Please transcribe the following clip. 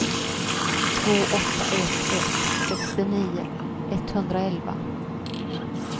två åtta ett ett sextionio etthundraelva